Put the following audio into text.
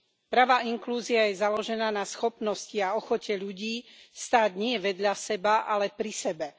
Pravá inklúzia je založená na schopnosti a ochote ľudí stáť nie vedľa seba, ale pri sebe.